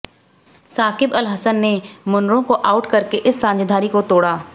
साकिब अल हसन ने मुनरो को आउट करके इस साझेदारी को तोड़ा